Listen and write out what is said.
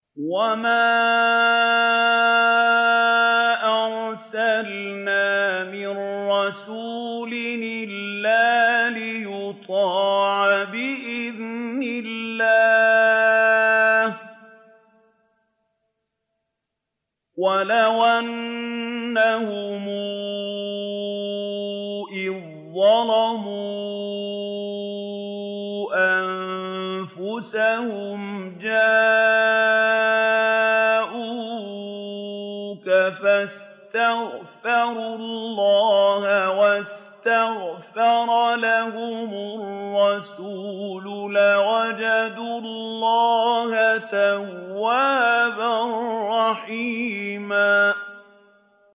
وَمَا أَرْسَلْنَا مِن رَّسُولٍ إِلَّا لِيُطَاعَ بِإِذْنِ اللَّهِ ۚ وَلَوْ أَنَّهُمْ إِذ ظَّلَمُوا أَنفُسَهُمْ جَاءُوكَ فَاسْتَغْفَرُوا اللَّهَ وَاسْتَغْفَرَ لَهُمُ الرَّسُولُ لَوَجَدُوا اللَّهَ تَوَّابًا رَّحِيمًا